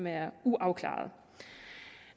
er uafklarede